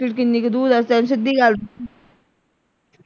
ਕਿੰਨੀ ਕੁ ਦੂਰ ਹੈ